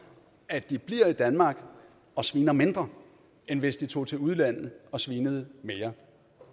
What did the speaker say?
at de bliver i danmark og sviner mindre end hvis de tog til udlandet og svinede mere